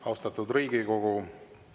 Austatud Riigikogu!